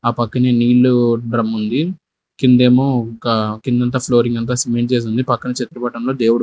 ఆ పక్కనే నీళ్ళు డ్రమ్ముంది కిందేమో ఒక కిందంతా ఫ్లోరింగ్ అంతా సిమెంట్ చేసింది పక్కన చెట్ల బాటమ్ లో దేవుడు--